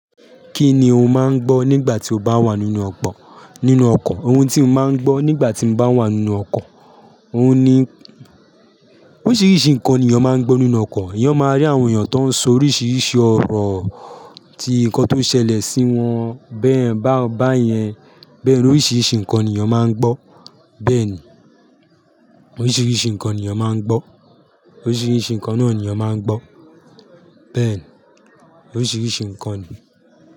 Kí ni o máa ń gbọ́ nígbà tí o bá wà nínú ọ̀kọ̀ nínú ọkọ̀? Ohun tí mo máa ń gbọ́ nígbà tí mo bá wà nínú ọkọ̀, òun ni oríṣiríṣi nǹkan ni èèyàn máa ń gbọ́ nínú ọkọ̀. Ẹ̀yàn máa rí àwọn èèyàn tó ń sọ oríṣìíríṣìí ọ̀rọ̀ tí ikan tó ṣẹlẹ̀ sí wọn bẹ́ẹ̀ báyẹn. Bẹ́ẹ̀ ni oríṣiríṣi nǹkan ni èèyàn máa ń gbọ́. Bẹ́ẹ̀ni, oríṣìíríṣìí nǹkan ni èèyàn máa ń gbọ́. Oríṣiríṣi nǹkan náà ni èèyàn máa ń gbọ́. Bẹ́ẹ̀ ni, oríṣiríṣi nǹkan ni.